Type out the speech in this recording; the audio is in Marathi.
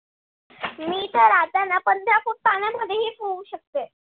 मी तर आता न पंधरा foot पाण्यातही पोहू शकते.